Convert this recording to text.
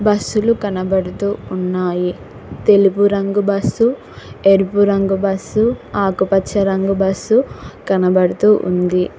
బస్సులు కనబడుతూ ఉన్నాయి తెలుపు రంగు బస్సు ఎరుపు రంగు బస్సు ఆకుపచ్చ రంగు బస్సు కనబడుతూ ఉంది.